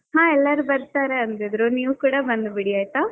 ಹಾ ಎಲ್ಲಾರು ಬರ್ತಾರೆ ಅಂದಿದ್ರು, ನೀವು ಕೂಡಾ ಬಂದ್ ಬಿಡಿ ಆಯ್ತಾ.